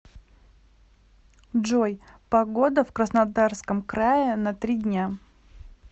джой погода в краснодарском крае на три дня